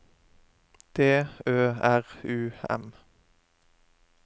D Ø R U M